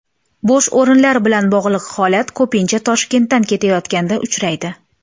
Bo‘sh o‘rinlar bilan bog‘liq holat ko‘pincha Toshkentdan ketayotganda uchraydi.